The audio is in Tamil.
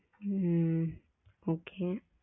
okay